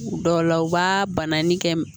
Dɔw la u b'a banni kɛ